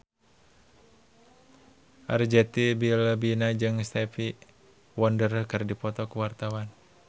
Arzetti Bilbina jeung Stevie Wonder keur dipoto ku wartawan